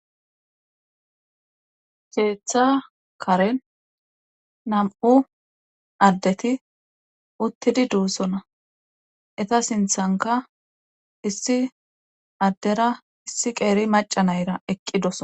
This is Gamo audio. keeththa karen nam7u addeti uttidi duussona eta sinthanka issi addera issi qeeri macanayra eqqi dosona